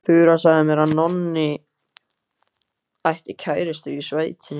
Þura sagði mér að Nonni ætti kærustu í sveitinni.